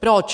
Proč?